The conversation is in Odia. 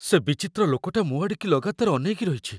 ସେ ବିଚିତ୍ର ଲୋକଟା ମୋ' ଆଡ଼ିକି ଲଗାତର ଅନେଇକି ରହିଚି ।